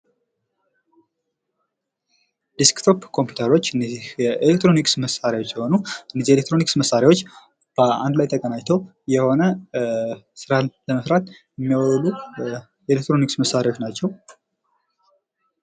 ድስክቶፕ ኮምፒተሮች እነዚህ የኤሌክትሮኒክስ መሳሪያዎች ሲሆኑ እነዚህ ኤሌክትሮኒክስ መሳሪያዎች በአንድ ላይ ተቀናይተው የሆነ ስራን ለመስራት የሚውሉ ኤሌክትሮኒክስ መሳሪያዎች ናቸው።